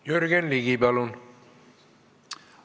Jürgen Ligi, palun!